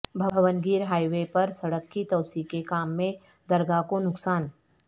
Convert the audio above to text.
Bhongir highway پر سڑک کی توسیع کے کام میں درگاہ کو نقصان